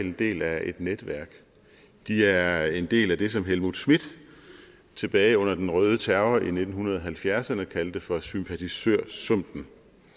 en del af et netværk de er en del af det som helmut schmidt tilbage under den røde terror i nitten halvfjerdserne kaldte for sympatisørsumpen